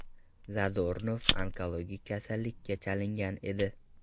Zadornov onkologik kasallikka chalingan edi.